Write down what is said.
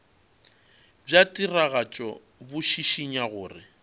bja tiragatšo bo šišinya gore